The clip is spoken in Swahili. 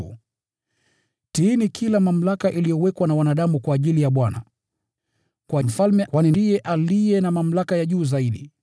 Kwa ajili ya Bwana, tiini kila mamlaka iliyowekwa na wanadamu: Kwa mfalme kwani ndiye aliye na mamlaka ya juu zaidi,